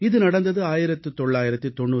இது நடந்தது 1998ஆம் ஆண்டு